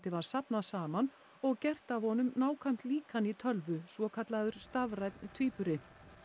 var safnað saman og gert af honum nákvæmt líkan í tölvu svokallaður stafrænn tvíburi